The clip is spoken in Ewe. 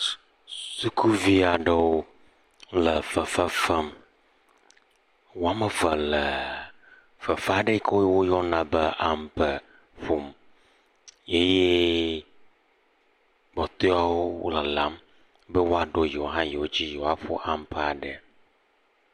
Sukuvi aɖewo le fefe fem, woame eve le fefe aɖe si woyɔna be ampe ƒom eye kpɔtɔeawo le lalam be woaɖo yewo hã dzi be yewoaƒo ampea ɖe.